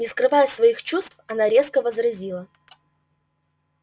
не скрывая своих чувств она резко возразила